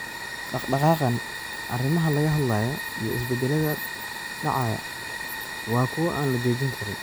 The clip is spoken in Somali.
“Dhaqdhaqaaqan, arrimaha laga hadlayo iyo isbedelada dhacaya waa kuwo aan la joojin karin.